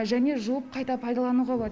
және жуып қайта пайдалануға болады